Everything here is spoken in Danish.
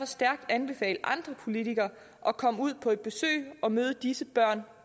stærkt anbefale andre politikere at komme ud på et besøg og møde disse børn